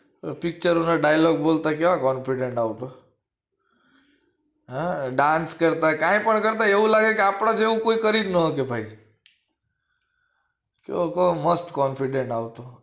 Picture ના dialogue બોલતા કેવો confidence આવતો dance કરતા કે કઈ પણ કરતા આપડા જેવો કોઈ કરી જ ન શકે ભાઈ એ મસ્ત confidence આવતો